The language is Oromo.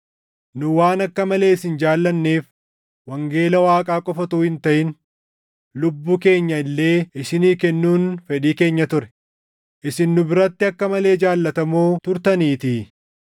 Nu waan akka malee isin jaallanneef wangeela Waaqaa qofa utuu hin taʼin lubbuu keenya illee isinii kennuun fedhii keenya ture; isin nu biratti akka malee jaallatamoo turtaniitii.